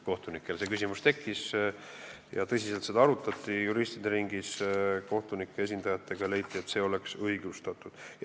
Kohtunikel see küsimus tekkis, seda arutati tõsiselt juristide ringis, kohtunike esindajatega, ja leiti, et see oleks õigustatud.